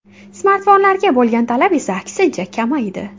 Smartfonlarga bo‘lgan talab esa, aksincha, kamaydi.